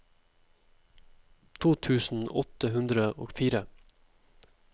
to tusen åtte hundre og fire